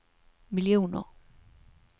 miljoner